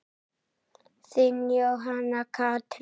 Þín, Jóhanna Katrín.